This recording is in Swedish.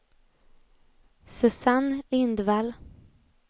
Susanne Lindvall